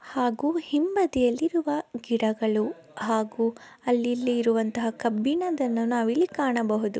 ಹಾಗೂ ಹಿಂಬದಿಯಲ್ಲಿರುವ ಗಿಡಗಳು ಹಾಗೂ ಅಲ್ಲಿಲ್ಲಿ ಇರುವ ಕಬ್ಬಿಣದನ್ನು ನಾವಿಲ್ಲಿ ಕಾಣಬಹುದು--